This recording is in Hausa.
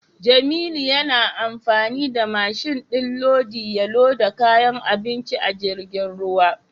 Jamilu yana amfani da mashin din lodi ya loda kayan abinci a jirgin ruwa.